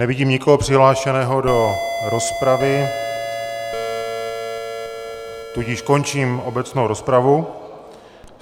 Nevidím nikoho přihlášeného do rozpravy, tudíž končím obecnou rozpravu.